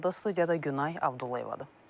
Studiyada Günay Abdullayevadır.